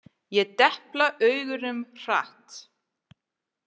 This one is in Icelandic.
Ég depla augunum hratt.